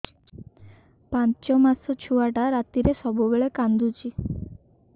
ପାଞ୍ଚ ମାସ ଛୁଆଟା ରାତିରେ ସବୁବେଳେ କାନ୍ଦୁଚି